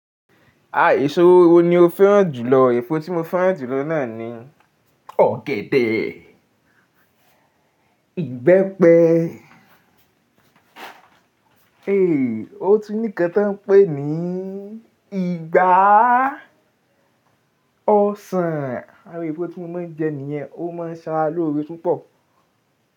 A èso wo wo ni o fẹ́ràn jùlọ? Èsó tí mo fẹ́ràn jùlọ náà ni ọ̀gẹ̀dẹ̀, ìgbẹ́pẹ. Eé o tún ní kan tí wọ́n ń pè ní ìgbá ọsàn. Àwon èfó tí mo máa ń jẹ níyẹn. Ó máa ń ṣe ara lọ́ore púpọ̀